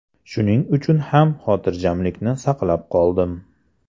Shuning uchun ham xotirjamlikni saqlab qoldim.